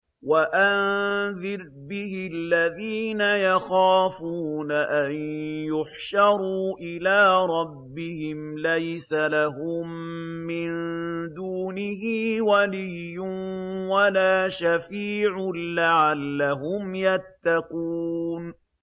وَأَنذِرْ بِهِ الَّذِينَ يَخَافُونَ أَن يُحْشَرُوا إِلَىٰ رَبِّهِمْ ۙ لَيْسَ لَهُم مِّن دُونِهِ وَلِيٌّ وَلَا شَفِيعٌ لَّعَلَّهُمْ يَتَّقُونَ